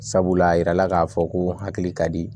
Sabula a yirala k'a fɔ ko hakili ka di